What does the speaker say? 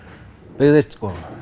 byggðist